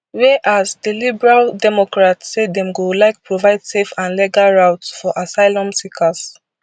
whereas di liberal democrats say dem go like provide safe and legal routes for asylum seekers